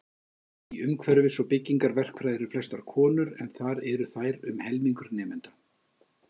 Í umhverfis- og byggingarverkfræði eru flestar konur en þar eru þær um helmingur nemenda.